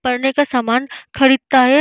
पढ़ने का सामान खरीदता है |